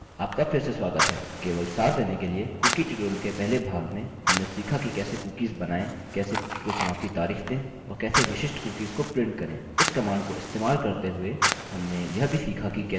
आपका फिर से स्वागत है केवल सार देने के लिए कुकीcookie ट्यूटोरियल के पहले भाग में हमने सीखा कि कैसे कुकीसcookies बनाएँ कैसे कुकीcookie को समाप्ति तारिख दें और कैसे विशिष्ट कुकीसcookies को प्रिंट करें